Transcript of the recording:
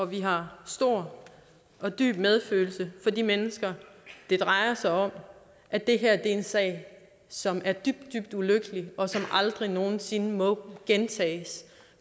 vi har stor og dyb medfølelse med de mennesker det drejer sig om at det her er en sag som er dybt dybt ulykkelig og som aldrig nogen sinde må gentages